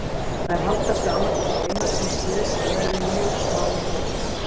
Þær halda sig annað hvort einar síns liðs eða eru í mjög smáum hópum.